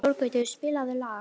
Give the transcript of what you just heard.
Þorgautur, spilaðu lag.